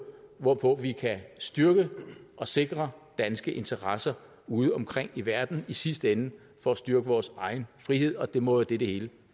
hvorpå vi kan styrke og sikre danske interesser udeomkring i verden i sidste ende for at styrke vores egen frihed og det må være det det hele